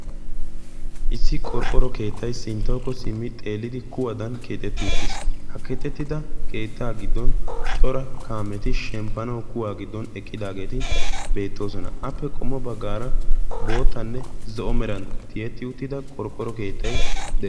Issi qorqqoro keettay sinttawukko simmi xeellidi kuwaadan Keexetti uttiis. ha ketettida keettaa giddon cora kaameti shemppanau kuwaa giddon eqqidaageeti beettoosona appe qommo baggaara bootanne zo'o meran tiyetti uttida qorqqoro keettay